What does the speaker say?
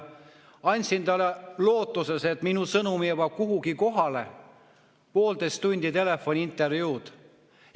Andsin lootuses, et minu sõnum jõuab kuhugi kohale, poolteisttunnise telefoniintervjuu.